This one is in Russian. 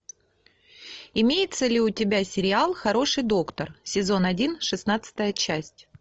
имеется ли у тебя сериал хороший доктор сезон один шестнадцатая часть